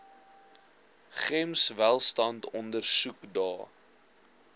gems welstand ondersoekdae